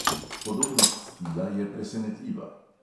Podobnost stila je presenetljiva.